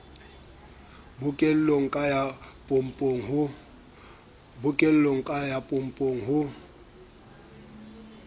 bookelong ka ya pompong ho